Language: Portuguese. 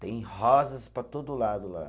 Tem rosas para todo lado lá.